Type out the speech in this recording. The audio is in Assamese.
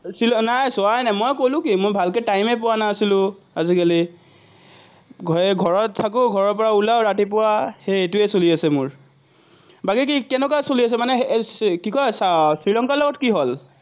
নাই চোৱাই নাই, মই ক'লো কি, মই ভালকে টাইমেই পোৱা নাছিলো আজিকালি। ঘৰত থাকো, ঘৰৰপৰা ওলাওঁ ৰাতিপুৱা, সেইটোৱে চলি আছে মোৰ। বাকী কি, কেনেকুৱা চলি আছে মানে কি কয়, শ্ৰীলঙ্কাৰ লগত কি হ'ল?